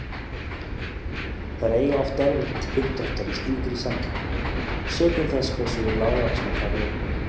Þær eiga oft erfitt uppdráttar í slíkri samkeppni, sökum þess hversu lágvaxnar þær eru.